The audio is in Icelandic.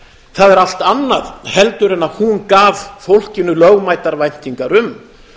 það er allt annað en hún gaf fólkinu lögmætar væntingar um